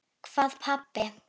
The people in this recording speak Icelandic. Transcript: Hvað pabbi?